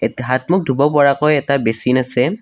এতে হাত-মুখ ধুব পৰাকৈ এটা বেচিন আছে।